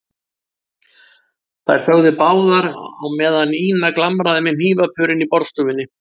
Þær þögðu báðar á meðan Ína glamraði með hnífapörin í borðstofunni.